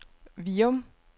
Virum